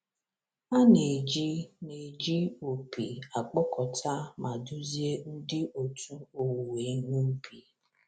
A na-eji na-eji opi akpọkọta ma duzie ndị otu owuwe ihe ubi.